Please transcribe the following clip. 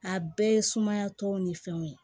A bɛɛ ye sumaya tɔw ni fɛnw ye